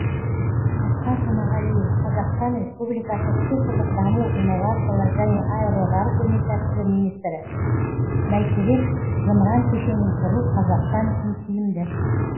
асқар жұмағалиев қазақстан республикасы цифрлық даму инновациялар және аэроғарыш өнеркәсібі министрі бәйтерек зымыран кешенін құру қазақстан үшін тиімді